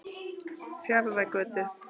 Fjarðargötu